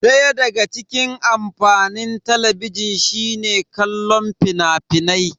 Daya daga cikin amfanin Talabijin shine kallon fina-finai.